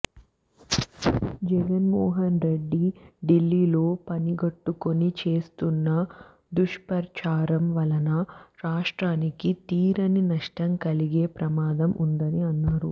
జగన్మోహన్ రెడ్డి డిల్లీలో పనిగట్టుకొని చేస్తున్న దుష్ప్రచారం వలన రాష్ట్రానికి తీరని నష్టం కలిగే ప్రమాదం ఉందని అన్నారు